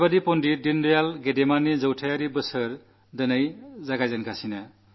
ആ പണ്ഡിറ്റ് ദീനദയാൽ ഉപാധ്യായയുടെ ശതാബ്ദി വർഷമാണ് ഇന്ന് ആരംഭിക്കുന്നത്